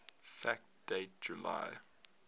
fact date july